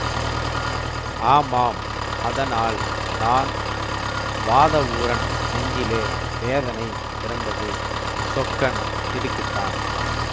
ஆமாம் அதனால் தான் வாதவூரன் நெஞ்சிலே வேதனை பிறந்தது சொக்கன் திடுக்கிட்டான்